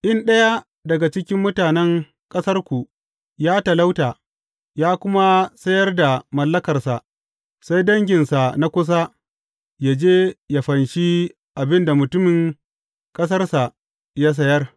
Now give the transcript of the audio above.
In ɗaya daga cikin mutanen ƙasarku ya talauta, ya kuma sayar da mallakarsa, sai danginsa na kusa yă je yă fanshi abin da mutumin ƙasarsa ya sayar.